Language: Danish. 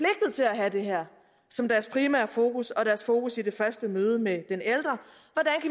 at have det her som deres primære fokus og deres fokus i det første møde med den ældre